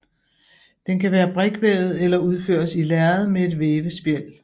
Den kan være brikvævet eller udføres i lærred med et vævespjæld